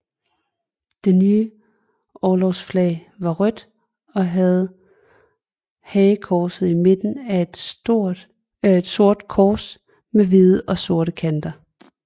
Det nye orlogsflag var rødt og havde hagekorset i midten af et sort kors med hvide og sorte kanter